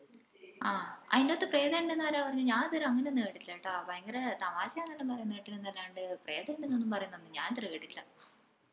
ആഹ് ആയിന്റോത് പ്രേതം ഇണ്ട്ന്ന് ആരാ പറഞ്ഞെ ഞാൻ ഇതുവരെ അങ്ങനൊന്നും കേട്ടിട്ടില്ല കേട്ട ഭയങ്കര തമാശയാന്നെല്ലോ പറേന്ന കേട്ടിനിന്നെല്ലാണ്ട്‌ പ്രേതോണ്ടിനൊന്നും പറേന്ന ഞാനിതുവരെ കേട്ടിട്ടില്ല